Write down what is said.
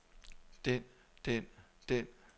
den den den